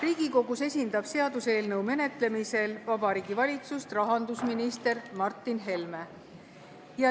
Riigikogus esindab seaduseelnõu menetlemisel Vabariigi Valitsust rahandusminister Martin Helme.